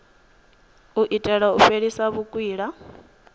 u itela u fhelisa vhukwila